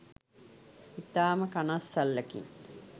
ඉතාම කනස්සල්ලකින්